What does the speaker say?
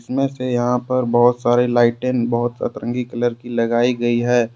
वैसे यहां पर बहुत सारी लाइटें बहोत सतरंगी कलर की लगाई गई है।